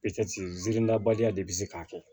zeridabaliya de be se k'a kɛ